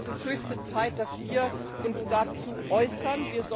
Es ist höchste Zeit, dass wir uns dazu äußern.